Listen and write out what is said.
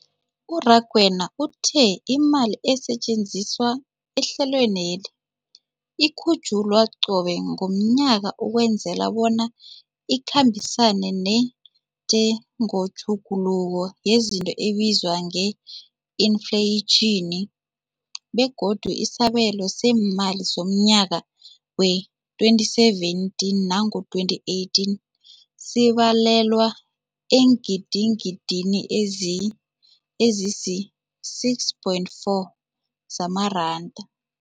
U-Rakwena uthe imali esetjenziswa ehlelweneli ikhutjhulwa qobe ngomnyaka ukwenzela bona ikhambisane nentengotjhuguluko yezinto ebizwa nge-infleyitjhini, begodu isabelo seemali somnyaka we-2017 namkha 2018 sibalelwa eengidigidini ezisi-6.4 zamaranda.